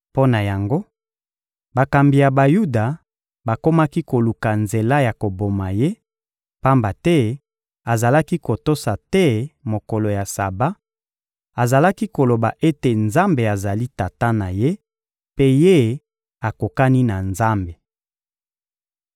Mpo na yango, bakambi ya Bayuda bakomaki koluka nzela ya koboma Ye; pamba te azalaki kotosa te mokolo ya Saba, azalaki koloba ete Nzambe azali Tata na Ye, mpe Ye akokani na Nzambe.